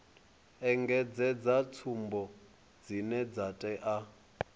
engedzedza tsumbo dzine dza tea